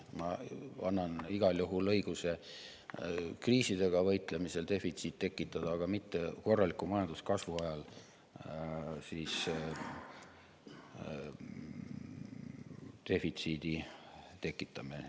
Ma annan igal juhul õiguse tekitada defitsiit kriisidega võitlemisel, aga korraliku majanduskasvu ajal defitsiidi tekitamine.